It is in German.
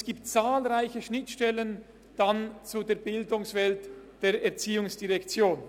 Es gibt zahlreiche Schnittstellen zur Bildungswelt der ERZ.